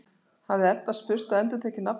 hafði Edda spurt og endurtekið nafnið sitt.